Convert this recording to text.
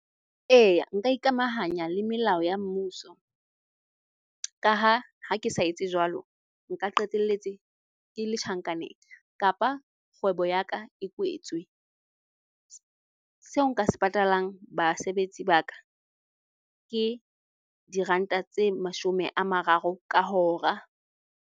Eya nka ikamahanya le melao ya mmuso. Ka ha ke sa etse jwalo, nka qetelletse ke le tjhankaneng kapa kgwebo ya ka e kwetswe. Seo nka se patalang basebetsi ba ka, ke diranta tse mashome a mararo ka hora.